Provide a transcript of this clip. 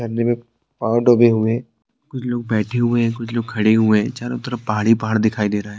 झरने में पांव डूबे हुए हैं कुछ लोग बैठे हुए हैं कुछ लोग खड़े हुए हैं चारो तरफ पहाड़ ही पहाड़ दिखाई दे रहा है।